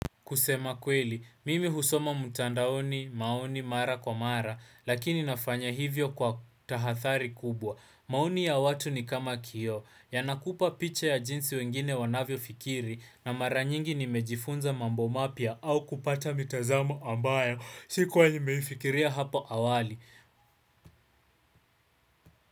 Kusema kweli, mimi husoma mtandaoni maoni mara kwa mara lakini nafanya hivyo kwa tahadhari kubwa. Maoni ya watu ni kama kioo. Yanakupa picha ya jinsi wengine wanavyofikiri na mara nyingi nimejifunza mambo mapya au kupata mitazamo ambayo. Sikuwa nimeifikiria hapo awali.